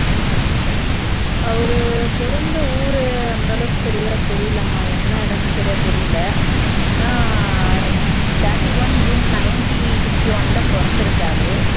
அவரு பிறந்த ஊர் அந்த அளவுக்கு சரியா தெரியலம்மா என்ன இடம்னு சரியா தெரியல ஆனா thirty one June nineteen fifty one ல பிறந்து இருக்கார்